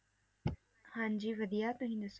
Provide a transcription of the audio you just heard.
ਹਾਂਜੀ ਵਧੀਆ ਤੁਸੀਂ ਦੱਸੋ?